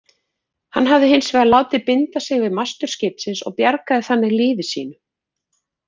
Hann hafði hins vegar látið binda sig við mastur skipsins og bjargaði þannig lífi sínu.